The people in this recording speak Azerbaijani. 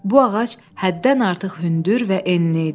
Bu ağac həddən artıq hündür və enli idi.